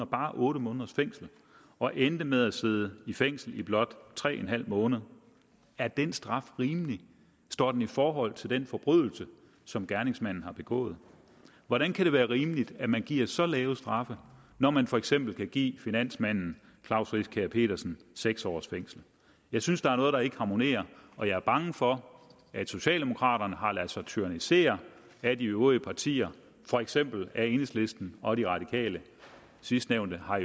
bare otte måneders fængsel og endte med at sidde i fængsel i blot tre en halv måneder er den straf rimelig står den i forhold til den forbrydelse som gerningsmanden har begået hvordan kan det være rimeligt at man giver så lave straffe når man for eksempel kan give finansmanden klaus riskær pedersen seks års fængsel jeg synes der er noget der ikke harmonerer og jeg er bange for at socialdemokraterne har ladet sig tyrannisere af de øvrige partier for eksempel af enhedslisten og de radikale sidstnævnte har